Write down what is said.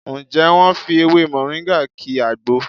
Ǹjẹ́ wọ́n fi ewé Mọ̀ríngà ki àgbo?